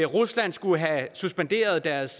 rusland skulle have suspenderet deres